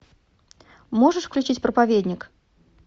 можешь включить проповедник